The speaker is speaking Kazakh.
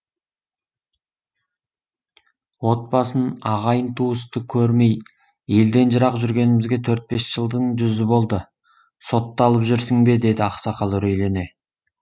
отбасын ағайын туысты көрмей елден жырақ жүргенімізге төрт бес жылдың жүзі болды сотталып жүрсің бе деді ақсақал үрейлене